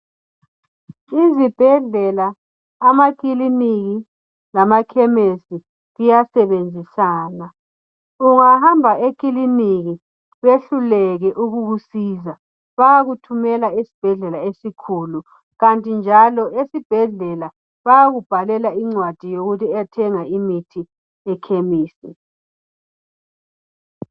izibhedlela amakiliniki lamakhemisi kuyasebenzisana ungahamba ekiliniki behluleke ukukusiza bayakuthumela esibhedlela esikhulu kanti njalo esibhedlela bayakubhalela incwadi yokuyathenga imithi ekhemisi